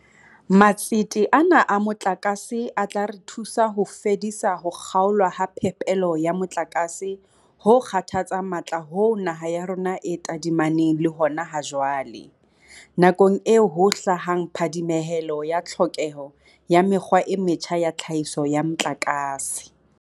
Matsete ana a motlakase a tla re thusa ho fedisa ho kga olwa ha phepelo ya motlakase ho kgathatsang matla hoo naha ya rona e tadimaneng le hona ha jwale, nakong eo ho hlahang phadimehelo ya tlhokeho ya mekgwa e metjha ya tlhahiso ya motlakase.